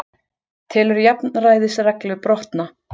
Telur jafnræðisreglu brotna